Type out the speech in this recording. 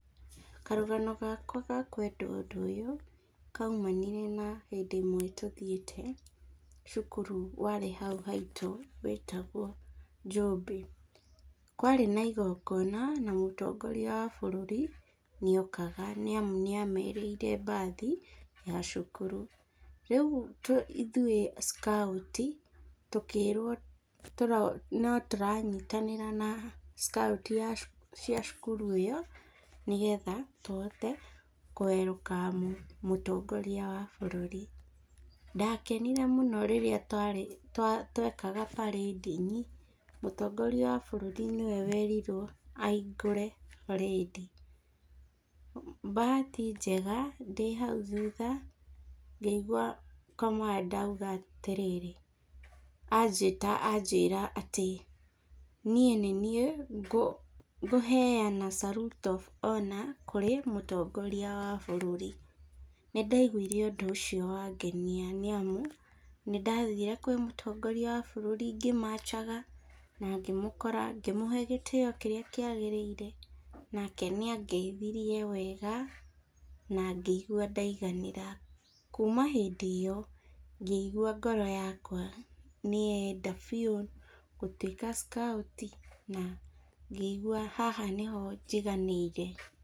Karũgano gakwa ga kwenda ũndũ ũyũ, kaumanire na hĩndĩ ĩmwe tũthiĩte cukuru warĩ hau haitũ wetagwo Njũmbĩ, kwarĩ na igongona na mũtongoria wa bũrũri nĩ okaga , nĩ amu nĩ amerĩire bathi ya cukuru, rĩu ithuĩ scout tũkĩrwo no tũranyitanĩra na scout ya cia cukuru ĩyo nĩgetha tũhote kũ welcome mũtongoria wa bũrũri, ndakenire mũno rĩrĩa twarĩ twekaga parade-inĩ, mũtongoria wa bũrũri nĩwe werirwo ahingũre parade, bahati njega ndĩ hau thutha ngĩigua commander auga atĩrĩrĩ, anjĩta anjĩra niĩ nĩ niĩ ngũheana salute of honour kũrĩ mũtongoria wa bũrũri, nĩ ndaigwire ũndũ ũcio wangenia nĩ amu , nĩndathire kwĩ mũtongoria wa bũrũri ngĩmachaga, na ngĩmũkora ngĩmũhe gĩtĩo kĩrĩa kĩagĩrĩire, nake nĩ angeithirie wega , na ngĩigua ndaiganĩra , kuma hĩndĩ ĩyo ngĩigua ngoro yakwa nĩ yenda biu gũtwĩka scout, na ngĩigua haha nĩho njiganĩire.